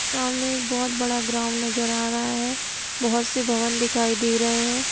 सामने एक बहुत बड़ा ग्राउन्ड नजर आ रहा है। बहुत से भवन दिखाई दे रहे है।